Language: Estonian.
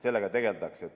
Sellega tegeldakse.